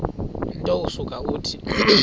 nto usuke uthi